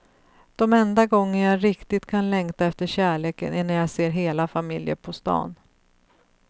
De enda gånger jag riktigt kan längta efter kärleken är när jag ser hela familjer på stan.